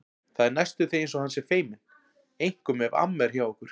Það er næstum því eins og hann sé feiminn, einkum ef amma er hjá okkur.